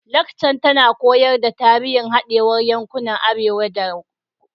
Lakcar tana koyar da tarihin hadewar yankunan arewa da kudanci